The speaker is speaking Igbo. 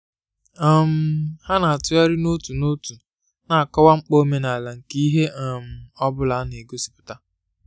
um ha na-atụgharị n'otu n'otu na-akọwa mkpa omenala nke ihe um ọ bụla a na-egosipụta